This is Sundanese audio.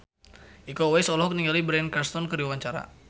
Iko Uwais olohok ningali Bryan Cranston keur diwawancara